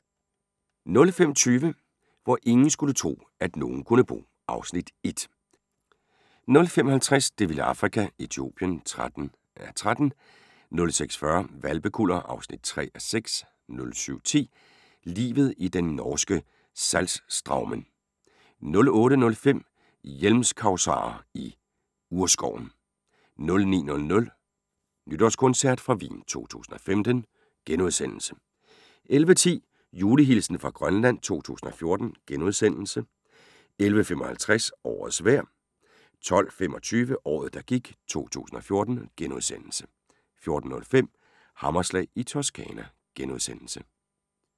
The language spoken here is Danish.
05:20: Hvor ingen skulle tro, at nogen kunne bo (Afs. 1) 05:50: Det vilde Afrika - Etiopien (13:13) 06:40: Hvalpekuller (3:6) 07:10: Livet i den norske Saltstraumen 08:05: Hjelmkasuarer i urskoven 09:00: Nytårskoncert fra Wien 2015 * 11:10: Julehilsen fra Grønland 2014 * 11:55: Årets vejr 12:25: Året, der gik 2014 * 14:05: Hammerslag i Toscana *